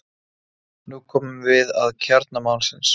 nú komum við að kjarna málsins